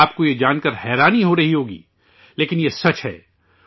آپ کو یہ جانکر حیرانی ہورہی ہوگی، لیکن یہ سچ ہے